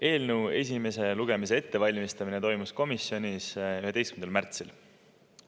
Eelnõu esimese lugemise ettevalmistamine toimus komisjonis 11. märtsil.